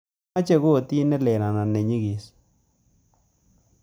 Amache kotit nelel anan nenyigis